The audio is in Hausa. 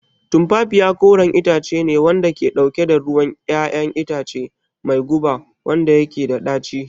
Tumfafiya koren itace ne wanda ke dauke da ruwan 'ya'yan itace mai guba wanda yake da daci